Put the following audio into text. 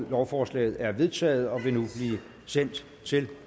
lovforslaget er vedtaget og vil nu blive sendt til